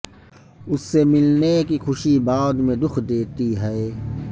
اس سے ملنے کی خوشی بعد میں دکھ دیتی ہے